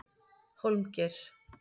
Hólmgeir